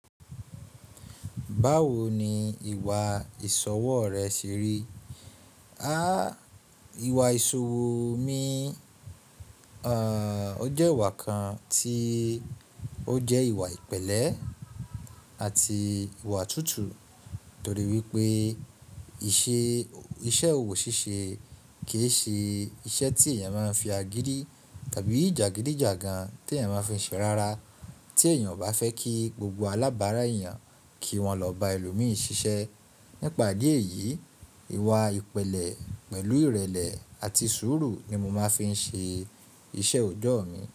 Báwo ni ìwà ìṣọwọ́ rẹ ṣe rí? À, ìwà ìṣowò mi, à, ó jẹ́ ìwà kan tí ó jẹ́ ìwà ìpẹ̀lẹ́ àti ìwà tútù torí wípé ìṣe, iṣẹ́ òwò ṣíṣe kì í ṣe iṣẹ́ tí èèyàn máa ń fi agídí tàbí jàgídíjàgan tí èèyàn máa fi n ṣe rárá. Tí èèyàn o bá fẹ́ kí gbogbo alábàárà èèyàn kí wọ́n lọ bá ẹlòmíi ṣiṣẹ́. Nípa idí ẹ̀yìí, ìwà ìpẹ̀lẹ́ pẹ̀lú ìrẹ̀lẹ̀ àti sùúrù ni mo máa fi n ṣe iṣẹ́ oọjọ́ mi.